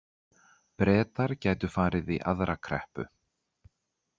Bretar gætu farið í aðra kreppu